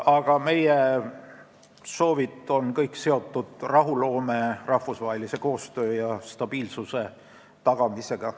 Aga kõik meie soovid on seotud rahuloome, rahvusvahelise koostöö ja stabiilsuse tagamisega.